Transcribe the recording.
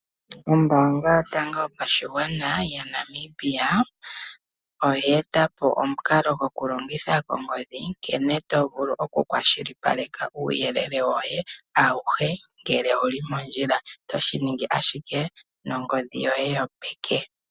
Ombaanga yotango yopashigwana yaNamibia oye eta po omukalo gokulongitha ongodhi, nkene to vulu okukwashilipaleka uuyelele woye auhe ngele owu li mondjila to shi ningi ashike nongodhi yoye yopeke.